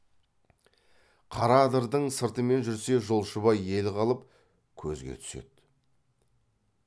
қара адырдың сыртымен жүрсе жолшыбай ел қалып көзге түседі